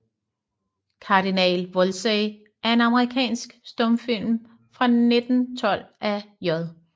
Cardinal Wolsey er en amerikansk stumfilm fra 1912 af J